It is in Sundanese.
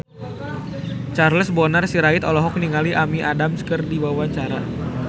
Charles Bonar Sirait olohok ningali Amy Adams keur diwawancara